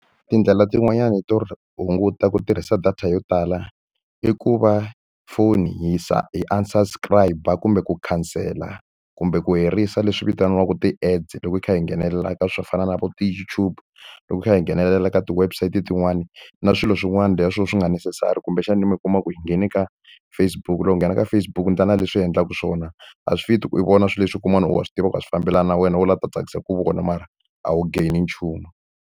Tindlela tin'wanyana to hunguta ku tirhisa data yo tala i ku va foni hi unsubscribe-a kumbe ku khansela, kumbe ku herisa leswi vitaniwaka ti-ads loko hi kha hi nghenelela leswo fana na vo , loko hi kha hi nghenelela ka ti-webside tin'wana. Na swilo swin'wana leswi swo ka swi nga ri neccessary kumbexani mi kuma ku hi nghene ka Facebook-u, loko hi nghene ka Facebook-u endla leswi u endlaka swona. A swi fit-i ku u vona swilo leswi kun'wana ku wa swi tiva ku a swi fambelani na wena, wo lava ku ta tsakisa hi ku vona mara a wu gain-i nchumu.